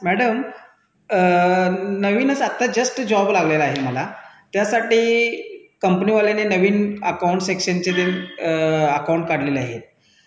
नवीनच आता नोकरी लागली आहे मला त्यासाठी कंपनी वाल्यांनी नवीन बँकेत खातं उघडलं आहे